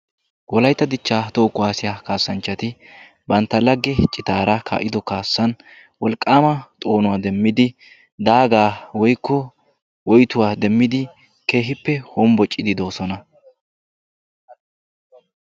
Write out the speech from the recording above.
Wolaytta dichchaa toho kuwaassiya kaassanchati bantta lagge citaara kaa"ido kaassan wolqqaama xoonuwaa demmidi daagaa woykko woytuwaa demmidi keehippe hombbociiddi de'oosona.